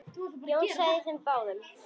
Jón þagði og þeir báðir.